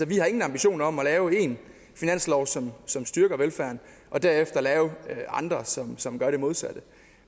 vi har ingen ambitioner om at lave en finanslov som som styrker velfærden og derefter lave andre som som gør det modsatte